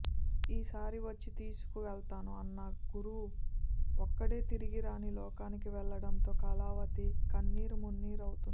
ఈసారి వచ్చి తీసుకు వెళ్తాను అన్న గురు ఒక్కడే తిరిగి రాని లోకాలకు వెళ్లడంతో కళావతి కన్నీరు మున్నీరు అవుతోంది